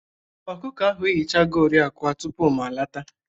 Ọkụkọ ahụ eyichagori akwa tupu m lọta.